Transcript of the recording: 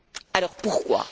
Alors pourquoi?